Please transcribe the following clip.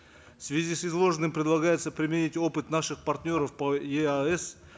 в связи с изложенным предлагается применить опыт наших партнеров по еаэс